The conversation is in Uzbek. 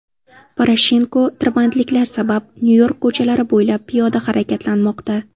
Poroshenko tirbandliklar sabab Nyu-York ko‘chalari bo‘ylab piyoda harakatlanmoqda.